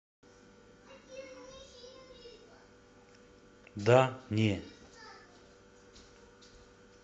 да не